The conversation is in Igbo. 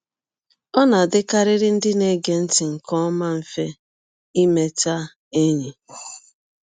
Ọ na - adịkarịrị ndị na - ege ntị nke ọma mfe imeta enyi.